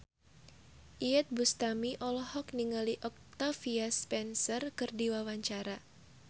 Iyeth Bustami olohok ningali Octavia Spencer keur diwawancara